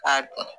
K'a dɔn